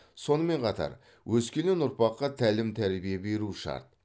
сонымен қатар өскелең ұрпаққа тәлім тәрбие беруі шарт